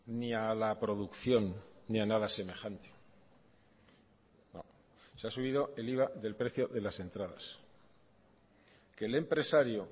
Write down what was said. ni a la producción ni a nada semejante se ha subido el iva del precio de las entradas que el empresario